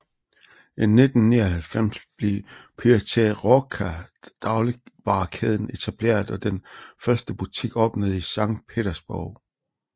I 1999 blev Pyaterochka dagligvarekæden etableret og den første butik åbnede i Sankt Petersborg